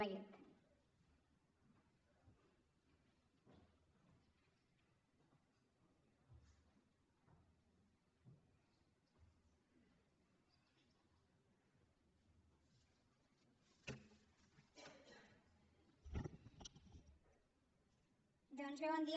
doncs bé bon dia